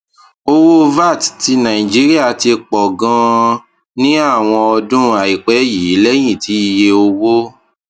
owó vat ti nàìjíríà ti pọ ganan ní àwọn ọdún àìpẹ yìí lẹyìn tí iye owó